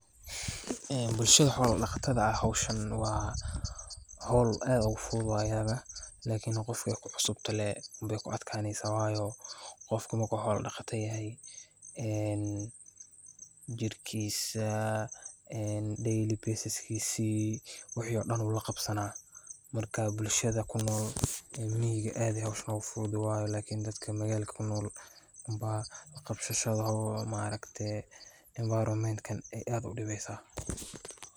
Bukshada xoola daqatada howshan waay ufududahay lakin qofka aay ku cusub tahay wuu kurafadaya jirkiisa wuu la qabsanaya lakin dadka waay dibeysa.